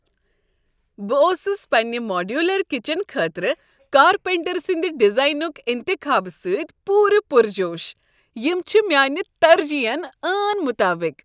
بہٕ اوسُس پننہ ماڈیولر کچن خٲطرٕ کارپینٹر سٕندۍ ڈیزائنک انتخابہ سۭتۍ پورٕ پرجوش۔ یم چھ میانہ ترجیحن عین مطابق۔